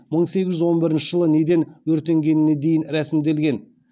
мың сегіз жүз он бірінші жылы неден өртенгеніне дейін рәсімделген